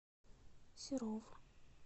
серов